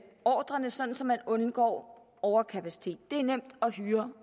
ordrerne så så man undgår overkapacitet det er nemt at hyre